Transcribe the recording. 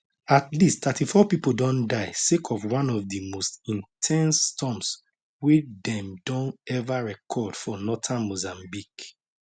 at least 34 pipo don die sake of one of di most in ten se storms wey dem don eva record for northern mozambique